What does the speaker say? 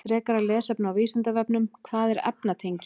Frekara lesefni á Vísindavefnum: Hvað eru efnatengi?